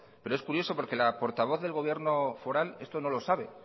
pero es curioso porque la portavoz del gobierno foral esto no lo sabe